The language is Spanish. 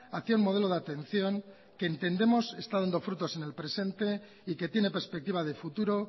hacia un modelo de atención que entendemos está dando frutos en el presente y que tiene perspectiva de futuro